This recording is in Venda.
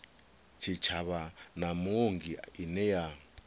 tshitshavha na muongi ine ya